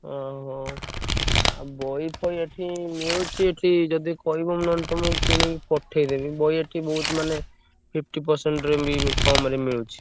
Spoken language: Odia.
ଅହୋ! ଆଉ ବହିଫହି ଏଠି ମିଳୁଚି ଏଠି ଯଦି କହିବ ମୁଁ ନହେଲେ ତମୁକୁ କିଣିକି ପଠେଇଦେବି ବହି ଏଠି ବହୁତ୍ ମାନେ fifty percent ରେ ବି କମ୍ ରେ ମିଳୁଚି।